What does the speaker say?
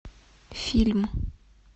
фильм